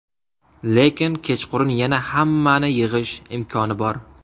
Lekin kechqurun yana hammani yig‘ish imkoni bor.